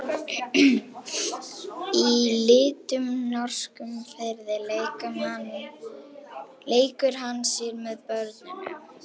Í litlum norskum firði leikur hann sér með börnum.